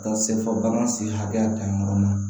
Ka taa se fɔ bagan sen hakɛya kan yɔrɔ ma